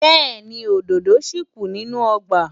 Bẹ́ẹ̀ni, òdòdó ṣì kù nínú ọgbà.